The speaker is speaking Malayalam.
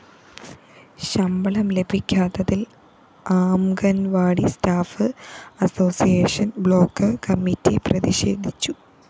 ശമ്പളം ലഭിക്കാത്തതില്‍ anganwadi staff association block committee പ്രതിഷേധിച്ചു